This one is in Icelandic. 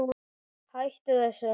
Hætta þessu!